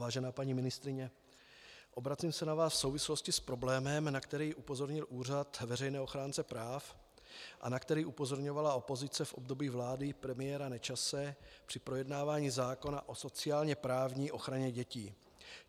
Vážená paní ministryně, obracím se na vás v souvislosti s problémem, na který upozornil Úřad veřejného ochránce práv a na který upozorňovala opozice v období vlády premiéra Nečase při projednávání zákona o sociálně-právní ochraně dětí.